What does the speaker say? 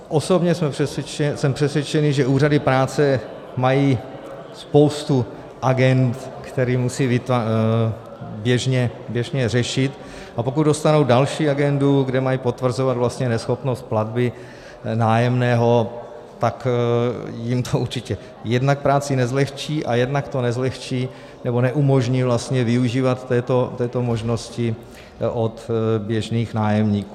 Osobně jsem přesvědčen, že úřady práce mají spoustu agend, které musí běžně řešit, a pokud dostanou další agendu, kde mají potvrzovat vlastně neschopnost platby nájemného, tak jim to určitě jednak práci nezlehčí a jednak to nezlehčí nebo neumožní vlastně využívat této možnosti od běžných nájemníků.